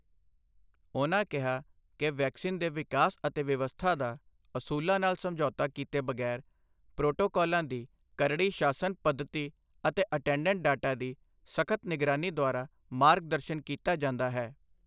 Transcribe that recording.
ਉਨ੍ਹਾਂ ਕਿਹਾ ਕਿ ਵੈਕਸੀਨ ਦੇ ਵਿਕਾਸ ਅਤੇ ਵਿਵਸਥਾ ਦਾ, ਅਸੂਲਾਂ ਨਾਲ ਸਮਝੌਤਾ ਕੀਤੇ ਬਗ਼ੈਰ ਪ੍ਰੋਟੋਕਾਲਾਂ ਦੀ ਕਰੜੀ ਸ਼ਾਸਨ ਪੱਧਤੀ ਅਤੇ ਅਟੈਂਡੈਂਟ ਡਾਟਾ ਦੀ ਸਖ਼ਤ ਨਿਗਰਾਨੀ ਦੁਆਰਾ ਮਾਰਗ ਦਰਸ਼ਨ ਕੀਤਾ ਜਾਂਦਾ ਹੈ।